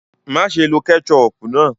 Maṣé ló kẹ́chọpù náà!